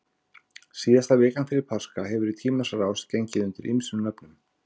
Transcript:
Síðasta vikan fyrir páska hefur í tímans rás gengið undir ýmsum nöfnum.